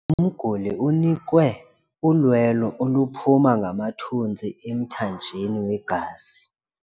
Umguli unikwe ulwelo oluphuma ngamathontsi emthanjeni wegazi.